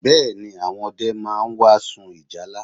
Bẹ́ẹ̀ ni, àwọn ọdẹ máa wá sun ìjálá